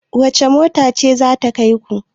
wacece mota ce za ta kai ku?